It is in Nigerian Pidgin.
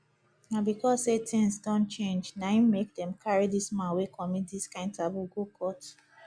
na because sey tins don change na im make dem carry dis man wey commit dis kind taboo go court